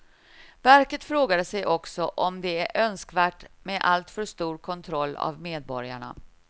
Verket frågade sig också om det är önskvärt med alltför stor kontroll av medborgarna.